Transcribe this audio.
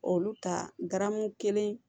Olu ka garamu kelen